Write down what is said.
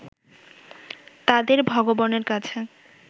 তাদের ভগবানের কাছে